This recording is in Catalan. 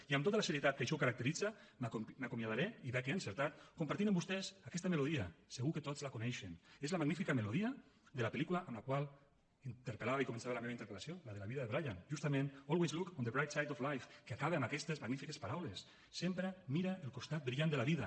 i amb tota la serietat que així ho caracteritza m’acomiadaré i veig que he encertat compartint amb vostès aquesta melodia segur que tots la coneixen és la magnífica melodia de la pel·lícula amb la qual interpel·lava i començava la meva interpel·lació la de la vida de brian justament always look on the bright side of life que acaba amb aquestes magnífiques paraules sempre mira el costat brillant de la vida